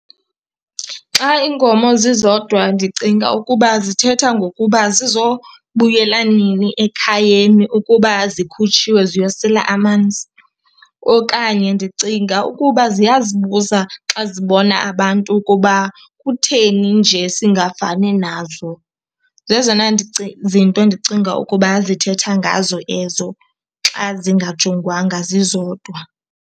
Xa iinkomo zizodwa ndicinga ukuba zithetha ngokuba zizobuyela nini ekhayeni ukuba zikhutshiwe ziyosela amanzi, okanye ndicinga ukuba ziyazibuza xa zibona abantu ukuba kutheni nje singafani nazo. Zezona zinto ndicinga ukuba zithetha ngazo ezo xa zingajongwanga, zizodwa.